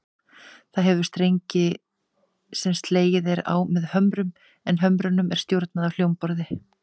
Það hefur strengi sem slegið er á með hömrum, en hömrunum er stjórnað af hljómborði.